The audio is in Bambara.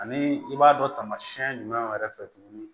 Ani i b'a dɔn tamasiɛn jumɛn yɛrɛ fɛ tuguni